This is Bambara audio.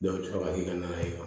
a bɛ sɔrɔ ka na